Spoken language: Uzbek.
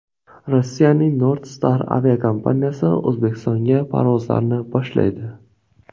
Rossiyaning NordStar aviakompaniyasi O‘zbekistonga parvozlarni boshlaydi.